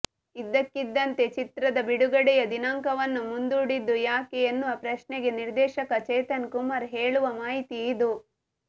ಇದ್ದಕ್ಕಿದ್ದಂತೆ ಚಿತ್ರದ ಬಿಡುಗಡೆಯ ದಿನಾಂಕವನ್ನು ಮುಂದೂಡಿದ್ದು ಯಾಕೆ ಎನ್ನುವ ಪ್ರಶ್ನೆಗೆ ನಿರ್ದೇಶಕ ಚೇತನ್ ಕುಮಾರ್ ಹೇಳುವ ಮಾಹಿತಿ ಇದು